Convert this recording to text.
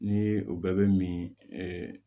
Ni o bɛɛ bɛ min